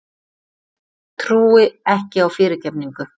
Trúi ekki á fyrirgefningu.